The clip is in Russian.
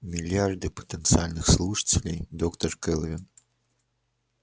миллиарды потенциальных слушателей доктор кэлвин